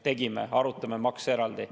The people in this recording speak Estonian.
Tegime, arutame makse eraldi.